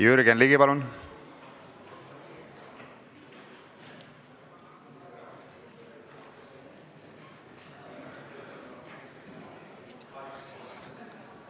Jürgen Ligi, palun!